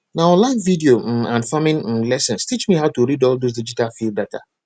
na online video um and farming um lessons teach me how to read all those digital field data